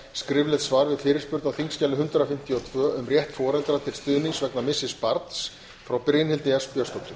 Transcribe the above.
skriflegt svar við fyrirspurn á þingskjali hundrað fimmtíu og tvö um rétt foreldra til stuðnings vegna missis barns frá brynhildi s björnsdóttur